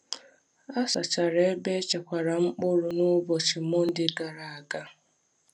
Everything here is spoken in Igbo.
A sachara ebe e chekwara mkpụrụ n’ụbọchị Mọnde gara aga.